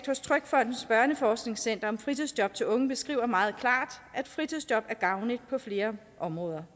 hos trygfondens børneforskningscenter om fritidsjob til unge beskriver meget klart at fritidsjob er gavnligt på flere områder